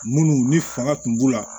Munnu ni fanga tun b'u la